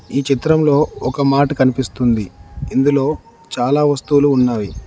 ఈ చిత్రంలో ఒక మార్ట్ కనిపిస్తుంది ఇందులో చాలా వస్తువులు ఉన్నవి.